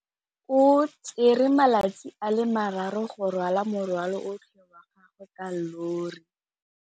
O tsere malatsi a le marraro go rwala morwalo otlhe wa gagwe ka llori.